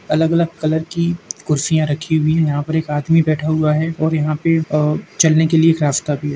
अलग अलग कलर की कुर्सियां रखी हुई हैं। यहाँ पर एक आदमी बैठा हुआ है और यहाँ पे अ चलने के लिए एक रास्ता भी है।